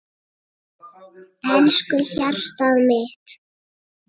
Elsku hjartað mitt.